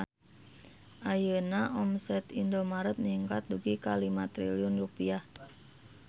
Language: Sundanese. Ayeuna omset Indomart ningkat dugi ka 5 triliun rupiah